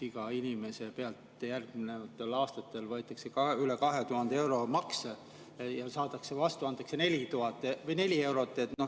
Iga inimese pealt võetakse järgnevatel aastatel üle 2000 euro makse ja vastu antakse 4 eurot.